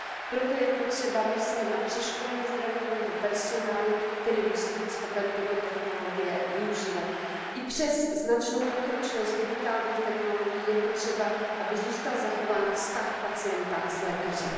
Proto je potřeba myslet na přeškolení zdravotního personálu, který musí být schopen tyto technologie využívat. I přes značnou pokročilost digitálních technologií je potřeba, aby zůstal zachován vztah pacienta s lékařem.